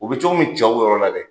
U bɛ cogo mi cɛw yɔrɔ la dɛ